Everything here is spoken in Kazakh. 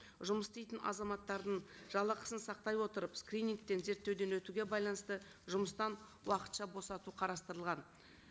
жұмыс істейтін азаматтардың жалақысын сақтай отырып скринингтен зерттеуден өтуге байланысты жұмыстан уақытша босату қарастырылған